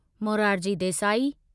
Morarji Desai